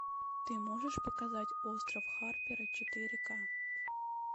ты можешь показать остров харпера четыре ка